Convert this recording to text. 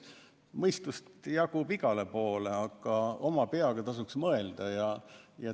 Mõistust jagub igale poole ja oma peaga tasuks mõelda.